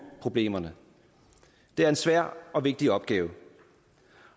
problemerne det er en svær og vigtig opgave